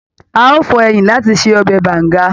A o fọ ẹyìn láti ṣe ọbẹ Banga.